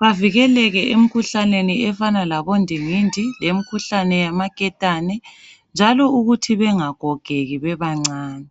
Bavikeleke emkhuhlaneni efana laboNdingindi, lemkhuhlane yamaKetane njalo ukuthi bengagogeki bebancane.